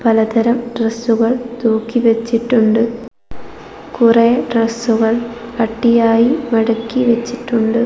പലതരം ഡ്രസ്സുകൾ തൂക്കി വെച്ചിട്ടുണ്ട് കുറേ ഡ്രസ്സുകൾ അട്ടിയായി മടക്കി വെച്ചിട്ടുണ്ട്.